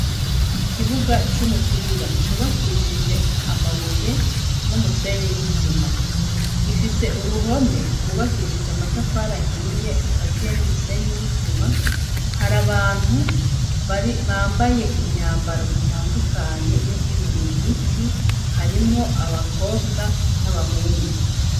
Ikibuga c'umupira cubakishije amabuye n'umusenye n'isima gifise uruhome rwubakishije amatafari ahiye ukaziye n'umusenyi n'isima hari abantu bambaye imyambaro itandukanye yo kwinonora imitsi harimwo abakobwa n'abahungu.